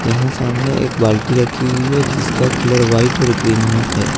यहां सामने एक बाल्टी रखी हुई है जिसका कलर व्हाइट और ग्रीन में है।